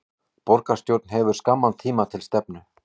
Borgarstjórn hefur skamman tíma til stefnu